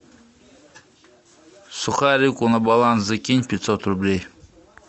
сухарику на баланс закинь пятьсот рублей